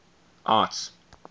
arts